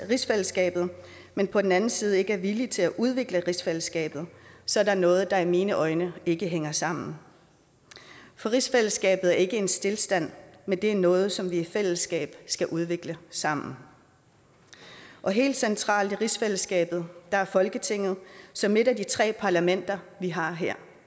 rigsfællesskabet men på den anden side ikke er villig til at udvikle rigsfællesskabet så er der noget der i mine øjne ikke hænger sammen rigsfællesskabet er ikke i stilstand men er noget som vi i fællesskab skal udvikle sammen helt centralt i rigsfællesskabet er folketinget som et af de tre parlamenter vi har